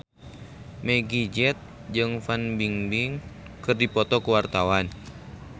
Meggie Z jeung Fan Bingbing keur dipoto ku wartawan